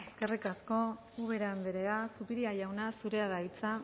eskerrik asko eskerrik asko ubera andrea zupiria jauna zurea da hitza